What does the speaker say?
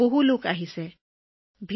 বহু লোকে ড্ৰোন চাবলৈ গোট খায়